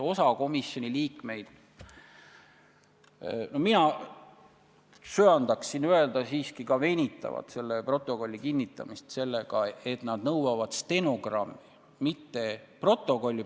Mina söandaksin öelda, et osa komisjoni liikmeid venitab selle kinnitamist, nõudes stenogrammi, mitte protokolli.